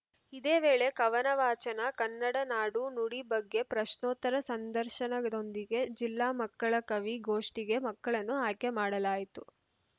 ಇದೇ ವೇಳೆ ಕವನ ವಾಚನ ಕನ್ನಡ ನಾಡು ನುಡಿ ಬಗ್ಗೆ ಪ್ರಶ್ನೋತ್ತರ ಸಂದರ್ಶನದೊಂದಿಗೆ ಜಿಲ್ಲಾ ಮಕ್ಕಳ ಕವಿಗೋಷ್ಠಿಗೆ ಮಕ್ಕಳನ್ನು ಆಯ್ಕೆ ಮಾಡಲಾಯಿತು